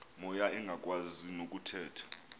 moya engakwazi nokuthetha